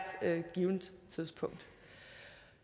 givent tidspunkt